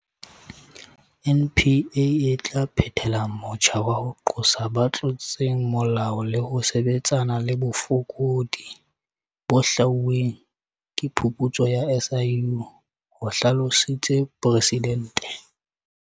NPA e tla phethela motjha wa ho qosa ba tlotseng molao le ho sebetsana le bofokodi bo hlwauweng ke phuputso ya SIU, ho hlalositse Presidente.